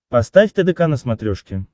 поставь тдк на смотрешке